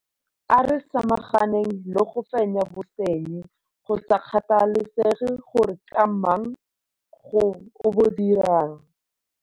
A re samaganeng le go fenya bosenyi, go sa kgathalesege gore ke mang yo o bo dirang.